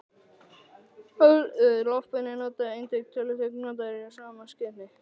Loftbelgir voru einnig töluvert notaðir í sama skyni.